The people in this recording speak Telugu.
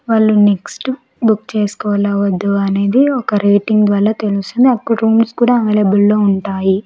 వాళ్ళు నెక్స్ట్ బుక్ చేసుకోవాలో వద్దు అనేది ఒక రేటింగ్ ద్వారా తెలుస్తుంది అక్కడ రూమ్స్ కూడా అవైలబుల్ లో ఉంటాయి.